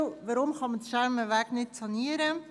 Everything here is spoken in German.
Warum lässt sich der Schermenweg nicht sanieren?